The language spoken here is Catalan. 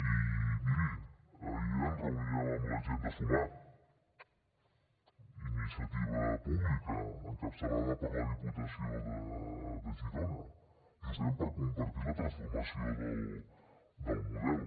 i miri ahir ens reuníem amb la gent de sumar iniciativa pública encapçalada per la diputació de girona justament per compartir la transformació del model